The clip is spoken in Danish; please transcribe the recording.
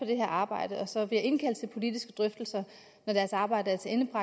det her arbejde og så vil jeg indkalde til politiske drøftelser når deres arbejde